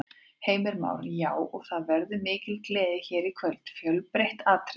Heimir Már: Já, og það verður mikil gleði hér í kvöld, fjölbreytt atriði?